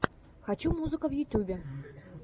хочу музыка в ютьюбе